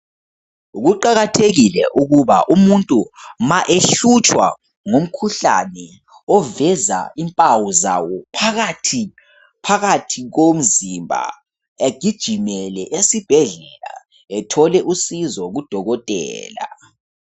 Kuqakathekile ukuba umuntu ma ehlutshwa ngumkhuhlane, ovez impawu zawo phakathi komzimba egijimele esibhedlela, ethole usizo kudokotela.